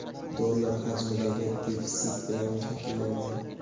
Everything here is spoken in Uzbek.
dollar) hajmidagi defitsit bilan shakllangan.